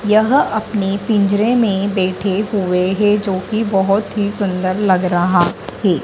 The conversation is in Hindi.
यह अपने पिंजरे में बैठे हुए हैं जो कि बहुत ही सुंदर लग रहा है।